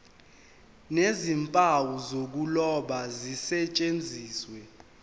nezimpawu zokuloba zisetshenziswe